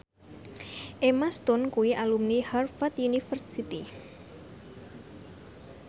Emma Stone kuwi alumni Harvard university